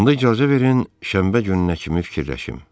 Onda icazə verin, şənbə gününə kimi fikirləşim.